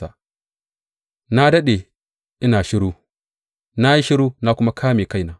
Na daɗe ina shiru, na yi shiru na kuma ƙame kaina.